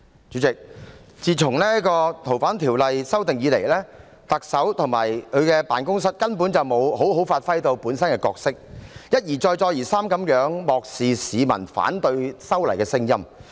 主席，自提出修訂《逃犯條例》後，特首及其辦公室根本沒有好好發揮本身的角色，一而再，再而三地漠視市民反對修例的聲音。